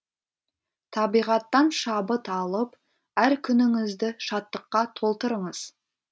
табиғаттан шабыт алып әр күніңізді шаттыққа толтырыңыз